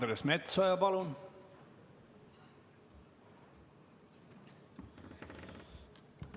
Andres Metsoja, palun!